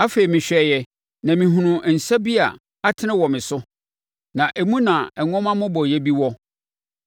Afei mehwɛeɛ na mehunuu nsa bi a atene wɔ me so, na emu na nwoma mmobɔeɛ bi wɔ.